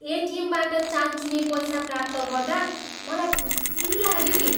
एटिएमबाट चानचुने पैसा प्राप्त गर्दा मलाई खुसी लाग्यो नि।